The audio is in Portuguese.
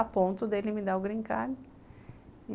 A ponto dele me dar o green card.